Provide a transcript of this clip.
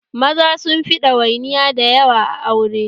Maza sunfi ɗawainiya da yawa a aure